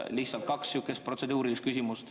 Lihtsalt kaks sihukest protseduurilist küsimust.